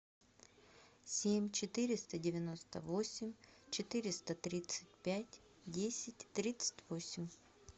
семь четыреста девяносто восемь четыреста тридцать пять десять тридцать восемь